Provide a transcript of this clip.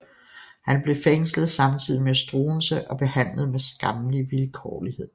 Han blev fængslet samtidig med Struensee og behandlet med skammelig vilkårlighed